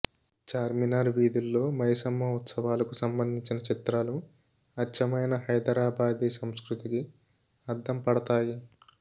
చార్మినార్ వీధుల్లో మైసమ్మ ఉత్సవాలకు సంబంధించిన చిత్రాలు అచ్చమైన హైదరాబాదీ సంస్కృతికి అద్దంపడతాయి